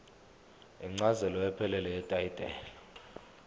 incazelo ephelele yetayitela